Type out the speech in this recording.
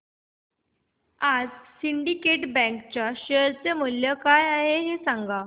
आज Syndicate Bank च्या share चे मूल्य काय आहे हे सांगा